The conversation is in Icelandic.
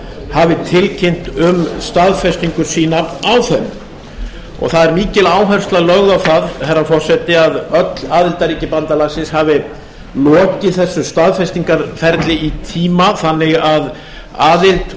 hafi tilkynnt um staðfestingu sína á þeim það er mikil áhersla lögð á það herra forseti að öll aðildarríki bandalagsins hafi lokið þessu staðfestingarferli í tíma þannig að aðild